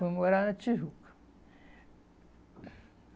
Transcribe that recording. Fui morar na Tijuca.